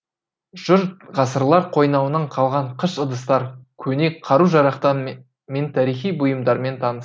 жұрт ғасырлар қойнауынан қалған қыш ыдыстар көне қару жарақтар мен тарихи бұйымдармен танысты